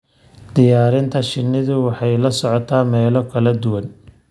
Diyaarinta shinnidu waxay la socotaa meelo kala duwan.